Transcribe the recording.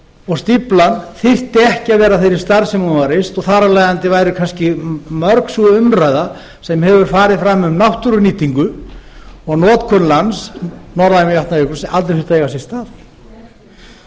og stíflan þyrfti ekki að vera af þeirri stærð sem hún var reist og þar af leiðandi væri kannski mörg sú umræða sem hefur farið fram um náttúrunýtingu og notkun lands norðan við vatnajökul aldrei þurft að eiga sér stað